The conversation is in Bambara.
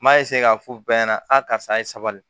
N m'a k'a fɔ bɛɛ ɲɛna a karisa ye sabali